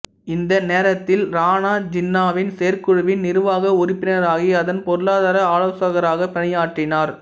இந்த நேரத்தில் ரானா ஜின்னாவின் செயற்குழுவின் நிர்வாக உறுப்பினராகி அதில் பொருளாதார ஆலோசகராக பணியாற்றினார்